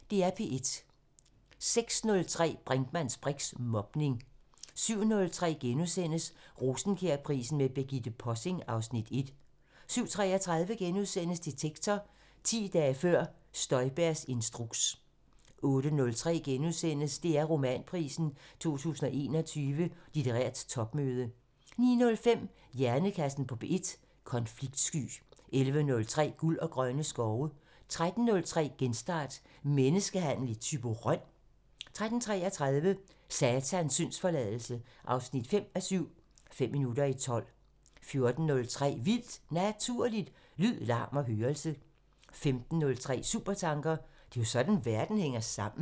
06:03: Brinkmanns briks: Mobning 07:03: Rosenkjærprisen med Birgitte Possing (Afs. 1)* 07:33: Detektor: 10 dage før Støjbergs instruks * 08:03: DR Romanprisen 2021 – Litterært topmøde * 09:05: Hjernekassen på P1: Konfliktsky 11:03: Guld og grønne skove 13:03: Genstart: Menneskehandel i Thyborøn? 13:33: Satans syndsforladelse 5:7 – Fem minutter i tolv 14:03: Vildt Naturligt: Lyd, larm og hørelse 15:03: Supertanker: Det er sådan verden hænger sammen